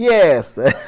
E essa?